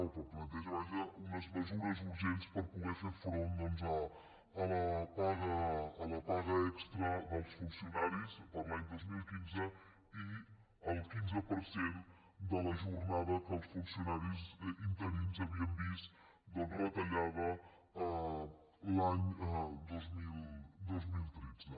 o planteja vaja unes mesures urgents per poder fer front doncs a la paga extra dels funcionaris per a l’any dos mil quinze i al quinze per cent de la jor·nada que els funcionaris interins havien vist doncs retallada l’any dos mil tretze